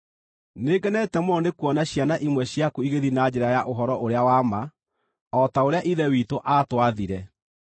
Nĩngenete mũno nĩkuona ciana imwe ciaku igĩthiĩ na njĩra ya ũhoro ũrĩa wa ma, o ta ũrĩa Ithe witũ aatwathire.